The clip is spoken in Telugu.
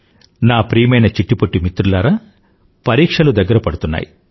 నా ప్రియమైన చిట్టి పొట్టి మిత్రులారా పరీక్షలు దగ్గర పడుతున్నాయి